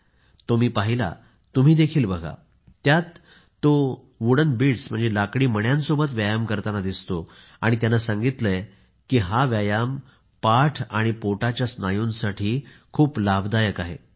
मी तो पहिला आहे तुम्ही देखील बघा यात तो लाकडी मण्यांसोबत व्यायाम करताना दिसतो आणि त्याने सांगितले आहे की हा व्यायाम पाठ आणि पोटाच्या स्नायूंसाठी खूप लाभदायक आहे